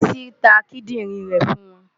Bísí ta kídìrín rẹ̀ fún wọn.